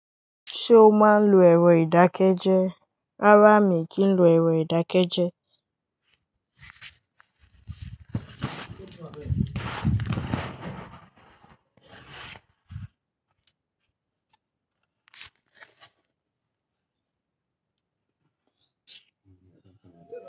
Ṣé o máa ń lo ẹ̀rọ ìdákẹ́jẹ́? Rárá mi kì í lo ẹ̀rọ ìdákẹ́jẹ́.